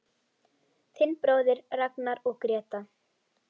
Þinn bróðir Ragnar og Gréta.